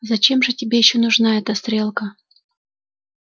зачем же тебе ещё нужна эта стрелка